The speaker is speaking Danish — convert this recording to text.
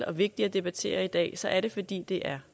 og vigtige at debattere i dag så er det fordi det er